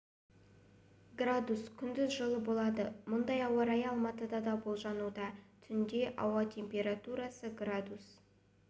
градус күндіз жылы болады мұндай ауа райы алматыда да болжануда түнде ауа температурасы градус